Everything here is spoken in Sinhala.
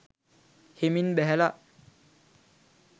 හෙමින් බැහැල